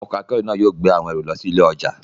Ọkọ̀ akẹ́rù náà yóò gbé àwọn ẹrù lọ sí ilé ọjà.